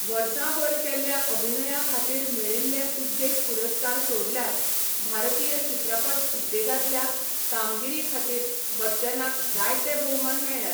वर्सांभर केल्ल्या अभिनया खातीर मेळिल्ले उद्देग पुरस्कार सोडल्यार भारतीय चित्रपट उद्देगांतल्या कामगिरी खातीर बच्चनाक जायते भोवमान मेळ्ळ्यात.